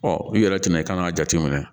Ɔ i yɛrɛ tɛna i kan k'a jateminɛ